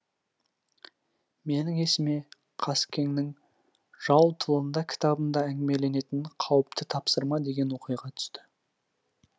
менің есіме қаскеңнің жау тылында кітабында әңгімеленетін қауіпті тапсырма деген оқиға түсті